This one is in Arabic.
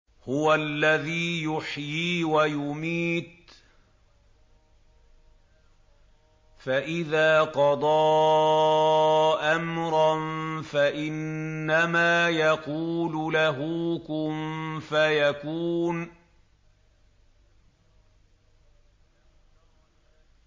هُوَ الَّذِي يُحْيِي وَيُمِيتُ ۖ فَإِذَا قَضَىٰ أَمْرًا فَإِنَّمَا يَقُولُ لَهُ كُن فَيَكُونُ